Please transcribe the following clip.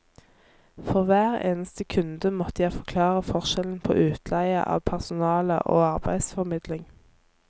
For hver eneste kunde måtte jeg forklare forskjellen på utleie av personale og arbeidsformidling.